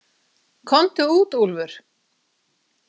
Komdu út, Úlfur.